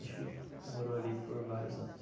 A gente morou ali por vários anos.